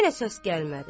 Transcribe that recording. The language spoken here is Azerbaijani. Yenə səs gəlmədi.